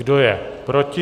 Kdo je proti?